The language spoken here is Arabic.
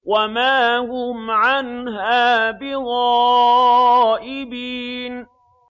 وَمَا هُمْ عَنْهَا بِغَائِبِينَ